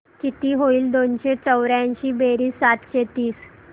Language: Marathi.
किती होईल दोनशे चौर्याऐंशी बेरीज सातशे तीस